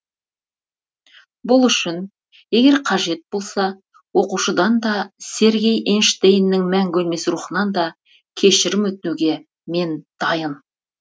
бұл үшін егер қажет болса оқушыдан да сергей эйнштейннің мәңгі өлмес рухынан да кешірім өтінуге мен дайын